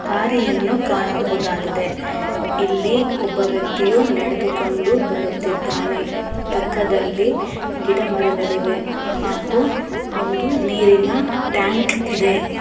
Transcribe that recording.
ದಾರಿಯನ್ನು ಕಾಣಬಹುದಾಗಿದೆ ಪಕ್ಕದಲ್ಲಿ ಇಲ್ಲಿ ಒಬ್ಬ ವ್ಯಕ್ತಿಯ ನಡೆದು ಕೊಂಡು ಬರುತಿದಾನೆ ಪಕ್ಕದಲ್ಲಿ ಗಿಡ ಮರಗಳಿವೆ ಹಾಗೂ ಒಂದು ನೀರಿನ ಟ್ಯಾಂಕ್ ಇದೆ ಹಾಗೂ ಒಂದು ನೀರಿನ ಟ್ಯಾಂಕ್--